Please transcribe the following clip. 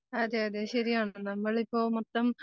അതെയതെ ശരിയാണ്. നമ്മളിപ്പോ മൊത്തം